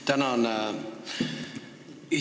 Tänan!